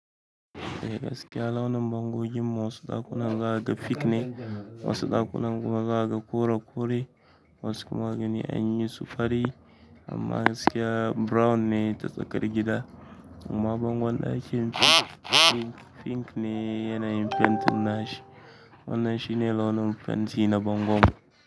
Eh gaskiya launin bangodin wasu ɗakunan raga fik ne, wasu ɗakunan kuma za kaga kore kore, wasu kuma gani an yi su fari amma gaskiya brown ne ta tsakar gida. Amma bangon ɗakin pink pink ne yanayin fentin nashi. Wannan shi ne launin fenti na bango.